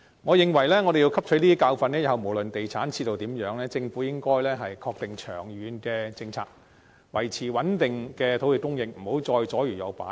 我們要汲取教訓，日後無論地產市道為何，政府應該確定長遠政策，維持穩定的土地供應，不得左搖右擺。